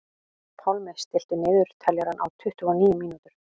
Pálmi, stilltu niðurteljara á tuttugu og níu mínútur.